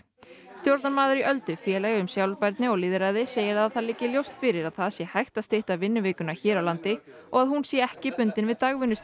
stjórnarmaður í Öldu félagi um sjálfbærni og lýðræði segir að það liggi ljóst fyrir að það sé hægt að stytta vinnuvikuna hér á landi og að hún sé ekki bundin við